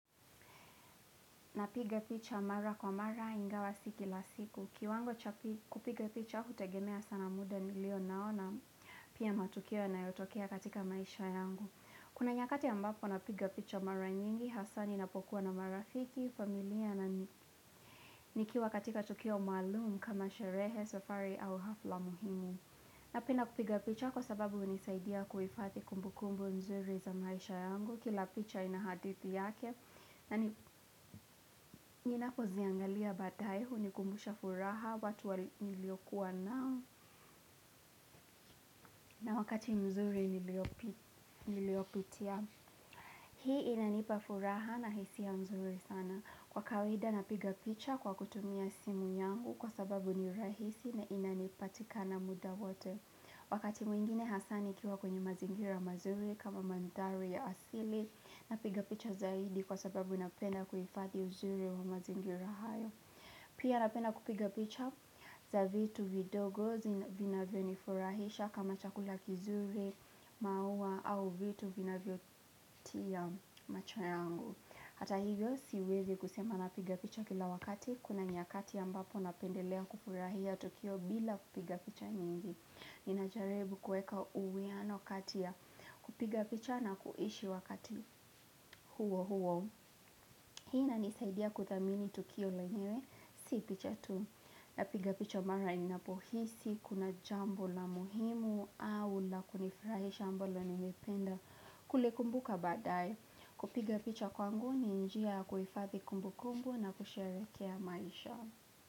Napiga picha mara kwa mara ingawa siki la siku. Kiwango cha kupiga picha hutegemea sana muda nilio naona pia matukio yanayotokea katika maisha yangu. Kuna nyakati ambapo napiga picha mara nyingi, hasani napokuwa na marafiki, familia na nikiwa katika tukio maalumu kama sherehe, safari au hafla muhimu. Napenda kupiga picha kwa sababu unisaidia kuifadhi kumbukumbu nzuri za maisha yangu. Kila picha inahadithi yake naninapo ziangalia badae huu ni kumbusha furaha watu wali niliokuwa nao na wakati mzuri niliopitia hii inanipa furaha nahisia mzuri sana kwa kawaida napiga picha kwa kutumia simu yangu kwa sababu ni rahisi na inanipatika na muda wote wakati mwingine hasani kiwa kwenye mazingira mazuri kama mandhari ya asili napiga picha zaidi kwa sababu napenda kuhifadhi uzuri wa mazingira hayo. Pia napenda kupiga picha za vitu vidogo zina vinavyo nifurahisha kama chakula kizuri maua au vitu vinavyo tia macho yangu. Hata hivyo siwezi kusema napiga picha kila wakati kuna nyakati ambapo napendelea kufurahia tukio bila kupiga picha nyingi. Nina jaribu kueka uwiano kati ya kupiga picha na kuishi wakati huo huo. Hii ina nisaidia kuthamini tukio lenyewe, si picha tu. Napiga picha mara inapohisi, kuna jambo la muhimu au la kunifurahisha ambalo nimependa kuli kumbuka badae. Kupiga picha kwangu ni njia kuhifadhi kumbu kumbu na kusherehekea maisha.